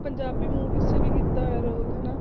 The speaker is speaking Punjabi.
ਪੰਜਾਬੀ movies 'ਚ ਵੀ ਕੀਤਾ ਹੋਇਆ ਰੋਲ ਹਨਾ,